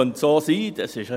Es könnte so sein.